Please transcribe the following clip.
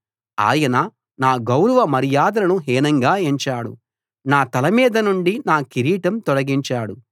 ఆయన నా గౌరవ మర్యాదలను హీనంగా ఎంచాడు నా తల మీద నుండి నా కిరీటం తొలగించాడు